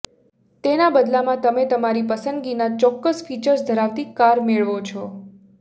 તેના બદલામાં તમે તમારી પસંદગીનાં ચોક્કસ ફીચર્સ ધરાવતી કાર મેળવો છો